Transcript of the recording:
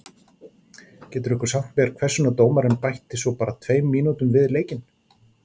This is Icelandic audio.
Getur einhver sagt mér hvers vegna dómarinn bætti svo bara tveimur mínútum við leikinn?